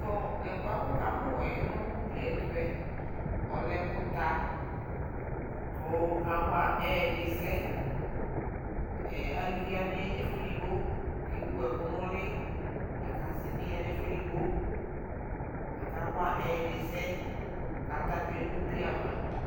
tʋ ɛkplɔɛ waka mʋ nʋ ʋgliɛ ɛtʋɛ ɔlɛ ɛkʋ ta kʋ awa ɛdi sɛ, alʋvi wani yanʋ ɛƒʋɛ ɛdigbɔ kʋ ɛwʋ ɛkʋ nʋli lakʋ asii bi yanʋ ɛƒʋ ɛdigbɔ kʋ aka wa ɛdi sɛ kʋ ata twɛnʋ ʋgli aɣa.